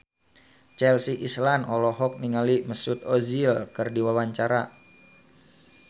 Chelsea Islan olohok ningali Mesut Ozil keur diwawancara